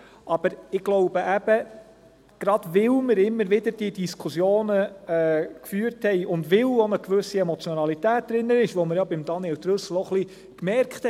Aber ich glaube eben, gerade weil wir immer wieder diese Diskussionen geführt haben und weil auch eine gewisse Emotionalität drin ist, die man bei Daniel Trüssel bemerkt hat.